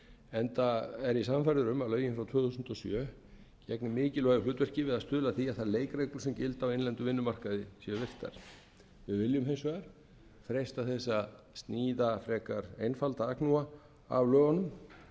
enda er ég sannfærður um að lögin frá tvö þúsund og sjö gegni mikilvægu hlutverki við að stuðla að því að þær leikreglur sem gilda á innlendum vinnumarkaði séu virtar við viljum hins vegar freista þess að sníða frekar einfalda agnúa af lögunum